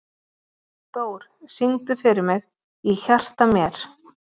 Dór, syngdu fyrir mig „Í hjarta mér“.